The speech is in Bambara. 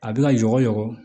A bɛ ka yɔgɔ